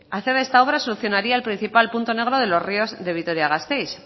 hacer ver solucionaría el principal punto negro de los ríos de vitoria gasteiz